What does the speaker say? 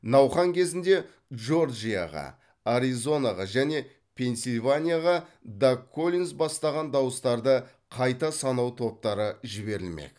науқан кезінде джорджияға аризонаға және пенсильванияға даг коллинз бастаған дауыстарды қайта санау топтары жіберілмек